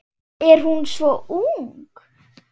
Er hún svo ung?